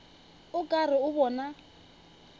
o ka re o bona